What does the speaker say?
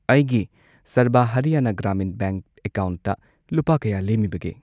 ꯑꯩꯒꯤ ꯁꯔꯕ ꯍꯔꯤꯌꯥꯅꯥ ꯒ꯭ꯔꯥꯃꯤꯟ ꯕꯦꯡꯛ ꯑꯦꯀꯥꯎꯟꯠꯇ ꯂꯨꯄꯥ ꯀꯌꯥ ꯂꯦꯝꯃꯤꯕꯒꯦ?